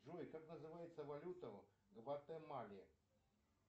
джой как называется валюта в гватемале